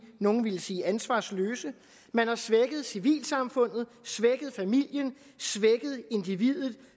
nogle ville sige ansvarsløse man har svækket civilsamfundet svækket familien svækket individet